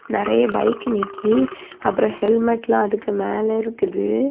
நெறைய பைக் நிக்கி அப்புறம் ஹெல்மெட்லாம் அதுக்கு மேல இருக்குது.